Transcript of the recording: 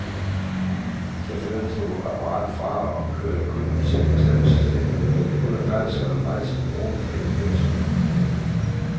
Chaufføren slog apparatet fra og kørte kunden til bestemmelsesstedet, uden at kræve så meget som en krone for hele køreturen.